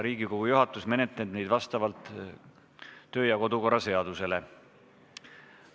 Riigikogu juhatus menetleb neid vastavalt kodu- ja töökorra seadusele.